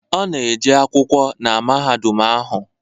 Ọ na-eje akwụkwọ na mahadum ahụ